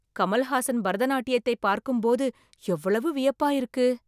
கமல்ஹாசன் பரதநாட்டியத்தை பார்க்கும் போது எவ்வளவு வியப்பா இருக்கு